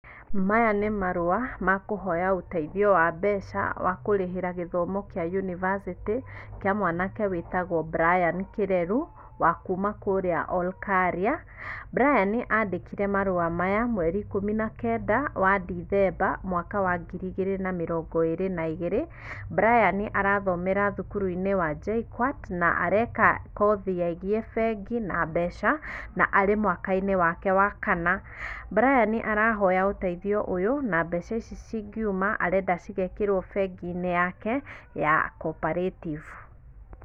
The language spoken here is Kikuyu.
Maya nĩ marũa, ma kũhoya ũteithio wa mbeca wa kũrĩhĩra gĩthomo kĩa university, kĩa mwanake wĩtagwo Brian Kĩreru, wa kuuma kũrĩa Olkaria. Brian andĩkire marũa maya mweri ikũmi na kenda, wa Ndithemba, mwaka wa ngiri igĩrĩ na mĩrongo ĩrĩ na igĩrĩ, Brian arathomera thukuru-inĩ wa JKUAT na areka kothi ya gĩbengi na mbeca, na arĩ mwaka-inĩ wake wa kana. Brian arahoya ũteithio ũyũ na mbeca ici cingiuma, arenda cigekĩrwo bengi-inĩ yake ya Cooperative.